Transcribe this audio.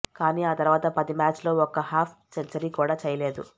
కానీ ఆ తర్వాత పది మ్యాచ్లో ఒక్క హాఫ్ సెంచరీ కూడా చేయలేదు